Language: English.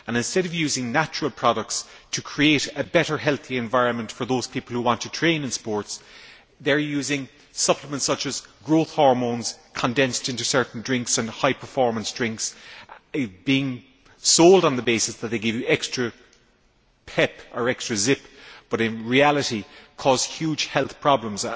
Instead of using natural products to create a better, healthy environment for those people who want to train in sports, they are using supplements such as growth hormones condensed into certain drinks and high performance drinks, which are sold on the basis that they give you extra pep or extra zip but, in reality, cause huge health problems.